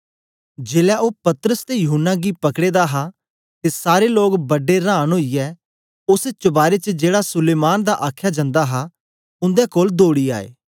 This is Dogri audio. जेलै ओ पतरस ते यूहन्ना गी पकड़े दा हा ते सारे लोग बडे रांन ओईयै ओस चबारे च जेड़ा सुलैमान दा आखया जंदा हा उंदे कोल दौड़ी आए